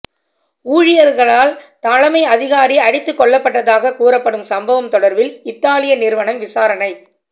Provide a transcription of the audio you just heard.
ஊழியர்களால் தலைமை அதிகாரி அடித்துக்கொல்லப்பட்டதாக கூறப்படும் சம்பவம் தொடர்பில் இத்தாலிய நிறுவனம் விசாரணை